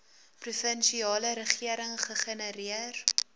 provinsiale regering gegenereer